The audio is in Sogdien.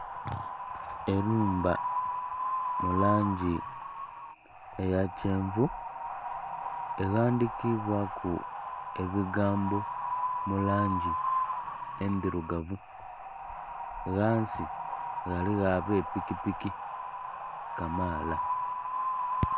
Ennhumba mu langi eya kyenvu eghandikiibwaku ebigambo mu langi endhirugavu. Ghansi ghaligho ab'epikipiki kamaala.